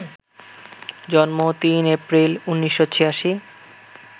জন্ম ৩ এপ্রিল, ১৯৮৬